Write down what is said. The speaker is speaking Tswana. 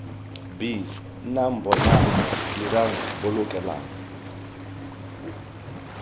b nnang bonang dirang bolokelang